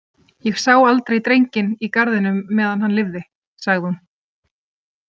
Ég sá aldrei drenginn í garðinum meðan hann lifði, sagði hún.